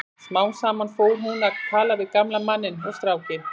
Smám saman fór hún að tala við gamla manninn og strákinn.